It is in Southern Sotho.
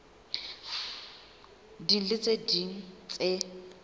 ding le tse ding tse